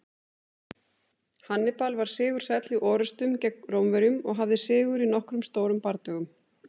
Hannibal var sigursæll í orrustum gegn Rómverjum og hafði sigur í nokkrum stórum bardögum.